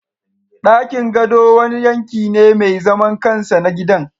Dakin gado wani yanki ne mai zaman kansa na gidan